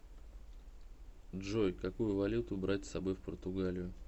джой какую валюту брать с собой в португалию